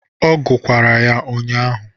Ọ gukwara ya ụnyaahụ